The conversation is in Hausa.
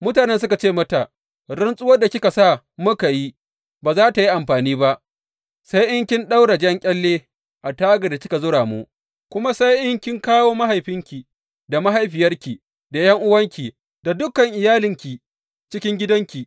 Mutanen suka ce mata, Rantsuwar da kika sa muka yi, ba za tă yi amfani ba sai in kin ɗaura jan ƙyalle a tagar da kika zura mu, kuma sai in kin kawo mahaifinki da mahaifiyarki, da ’yan’uwanki, da dukan iyalinki cikin gidanki.